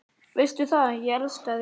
Veistu það, ég elska þig.